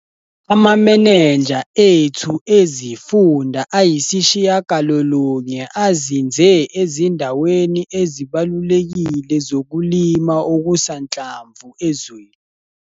AmaMeneja ethu eziFunda ayisishiyagalolunye azinze ezindaweni ezibalulekile zokulima okusanhlamvu ezweni.